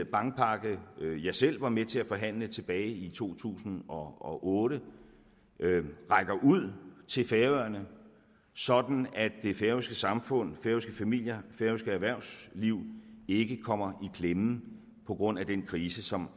bankpakke jeg selv var med til at forhandle tilbage i to tusind og otte rækker ud til færøerne sådan at det færøske samfund færøske familier færøske erhvervsliv ikke kommer i klemme på grund af den krise som